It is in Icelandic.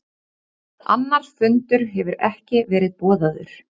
Annar fundur hefur ekki verið boðaður